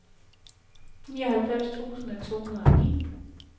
nioghalvfems tusind to hundrede og ni